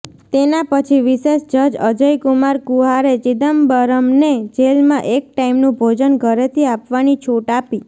તેના પછી વિશેષ જજ અજયકુમાર કુહારે ચિદમ્બરમને જેલમાં એક ટાઈમનું ભોજન ઘરેથી આપવાની છૂટ આપી